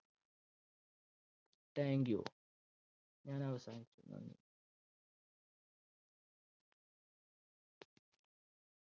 Thank you